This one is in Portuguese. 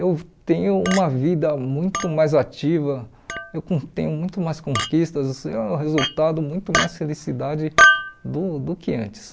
Eu tenho uma vida muito mais ativa, eu com tenho muito mais conquistas, eh o resultado muito mais felicidade do do que antes.